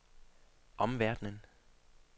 omverdenen